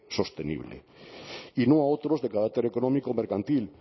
sostenible y no a otros de carácter económico mercantil